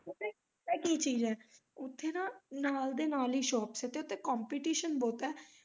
ਪਤਾ ਕੀ ਚੀਜ ਐ ਉੱਥੇ ਨਾ ਨਾਲ ਦੇ ਨਾਲ ਹੀ shops ਐ ਤੇ ਉੱਥੇ competition ਬਹੁਤ ਐ।